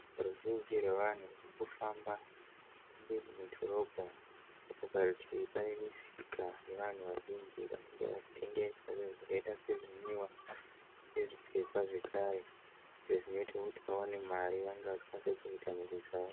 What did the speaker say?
Ruzhinji rwevanhu ruri kufamba ruri mu dhorobha. Parutivi pane musika nevanhu vazhinji vanenge vachitengesa zvakaita sezvinwiwa nezvipfekwa zvekare zvinoita kuti vawane mari. Zvinoita kuti vakwanise kuchengeta mhuri dzavo.